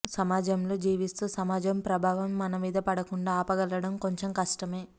సమాజంలో జీవిస్తూ సమాజం ప్రభావం మన మీద పడకుండా ఆపగలగడం కొంచెం కష్టమే